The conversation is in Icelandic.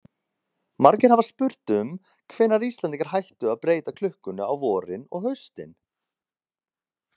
Margir hafa spurt um hvenær Íslendingar hættu að breyta klukkunni á vorin og haustin.